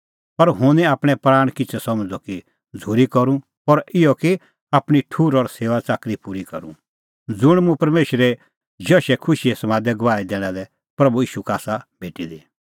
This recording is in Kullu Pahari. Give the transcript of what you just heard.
पर हुंह निं आपणैं प्राणा किछ़ै समझ़दअ कि झ़ूरी करूं पर इहअ कि आपणीं ठुहर और सेऊआच़ाकरी पूरी करूं ज़ुंण मुंह परमेशरे जशे खुशीए समादे गवाही दैणा लै प्रभू ईशू का आसा भेटी दी